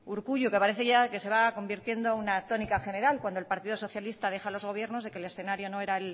urkullu que parece ya que se va convirtiendo en una tónica general cuando el partido socialista deja los gobiernos de que el escenario no erá